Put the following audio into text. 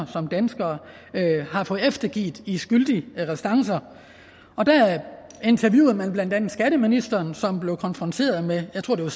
som danskere har fået eftergivet i skyldige restancer og der interviewede man blandt andet skatteministeren som blev konfronteret med jeg tror det